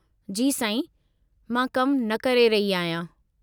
जी साईं, मां कमु न करे रही आहियां।